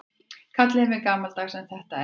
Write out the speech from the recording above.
Kallið mig gamaldags en þetta er rangt.